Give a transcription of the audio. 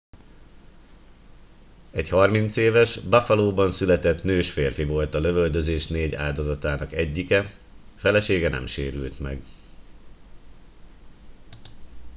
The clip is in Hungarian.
egy 30 éves buffalóban született nős férfi volt a lövöldözés 4 áldozatának egyike felesége nem sérült meg